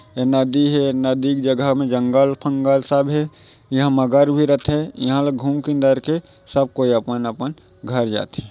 ए नदी हे नदी के जगह मे जंगल फंगल सब हे इहा मगर भी रथे ईहा ला घूम किंदर के सब कोई अपन अपन घर जाथे।